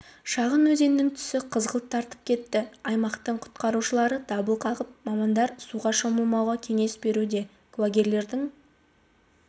шағын өзеннің түсі қызғылт тартып кетті аймақтың құтқарушылары дабыл қағып мамандар суға шомылмауға кеңес беруде куәгерлердің